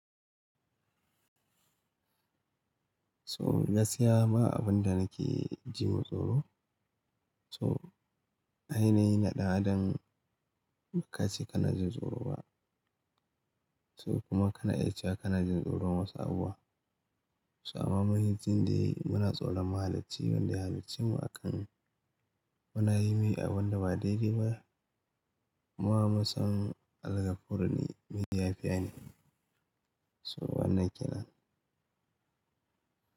So gaskiya ya saya abin da nake ji ma tsoro. So ainihi na ɗan adam ba ka ce kana jin tsoro ba. So kuma kana iya cewa kana jin tsoron wasu abubuwa. So amma mun yi jin da muna tsaro mahalicci wanda ya halicce mu akan muna yi mai abin da ba daidai ba. Mu amma son algafurne me yafiyane. So wannan kenan.